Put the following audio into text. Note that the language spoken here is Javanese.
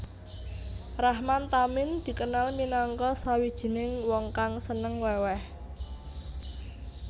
Rahman Tamin dikenal minangka sawijining wong kang seneng weweh